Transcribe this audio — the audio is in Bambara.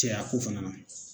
Cɛyako fɛnɛ na